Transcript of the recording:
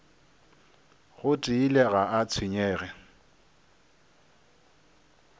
go tiile ga a tshwenyege